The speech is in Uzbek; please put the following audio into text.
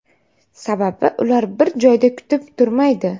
Sababi ular bir joyda kutib turmaydi.